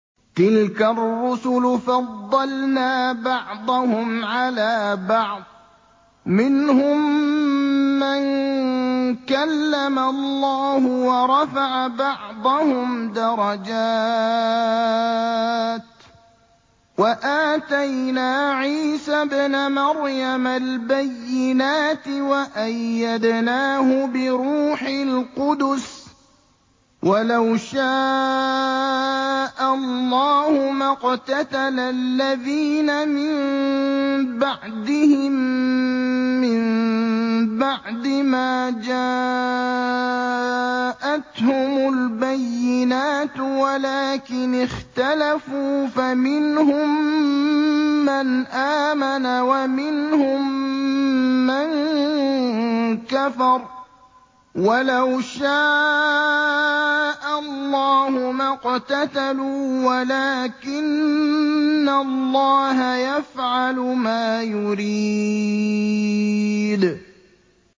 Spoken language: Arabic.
۞ تِلْكَ الرُّسُلُ فَضَّلْنَا بَعْضَهُمْ عَلَىٰ بَعْضٍ ۘ مِّنْهُم مَّن كَلَّمَ اللَّهُ ۖ وَرَفَعَ بَعْضَهُمْ دَرَجَاتٍ ۚ وَآتَيْنَا عِيسَى ابْنَ مَرْيَمَ الْبَيِّنَاتِ وَأَيَّدْنَاهُ بِرُوحِ الْقُدُسِ ۗ وَلَوْ شَاءَ اللَّهُ مَا اقْتَتَلَ الَّذِينَ مِن بَعْدِهِم مِّن بَعْدِ مَا جَاءَتْهُمُ الْبَيِّنَاتُ وَلَٰكِنِ اخْتَلَفُوا فَمِنْهُم مَّنْ آمَنَ وَمِنْهُم مَّن كَفَرَ ۚ وَلَوْ شَاءَ اللَّهُ مَا اقْتَتَلُوا وَلَٰكِنَّ اللَّهَ يَفْعَلُ مَا يُرِيدُ